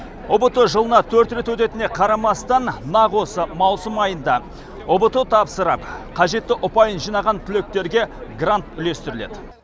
ұбт жылына төрт рет өтетініне қарамастан нақ осы маусым айында ұбт тапсырып қажетті ұпайын жинаған түлектерге грант үлестіріледі